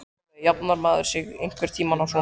Sólveig: Jafnar maður sig einhvern tímann á svona?